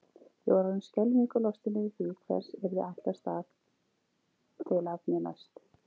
Ég var orðin skelfingu lostin yfir því hvers yrði ætlast til af mér næst.